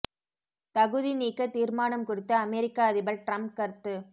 தகுதி நீக்க தீர்மானம் குறித்து அமெரிக்க அதிபர் டிரம்ப் கருத்து